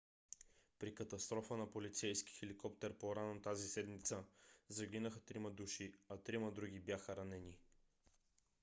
при катастрофа на полицейски хеликоптер по - рано тази седмица загинаха трима души а други трима бяха ранени